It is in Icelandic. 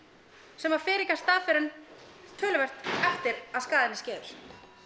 sem fer ekki af stað fyrr en töluvert eftir að skaðinn er skeður